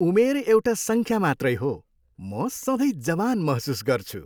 उमेर एउटा सङ्ख्या मात्रै हो। म सधैँ जवान महसुस गर्छु।